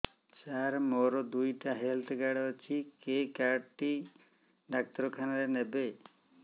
ସାର ମୋର ଦିଇଟା health card ଅଛି କେ କାର୍ଡ ଟି ଡାକ୍ତରଖାନା ରେ ନେବେ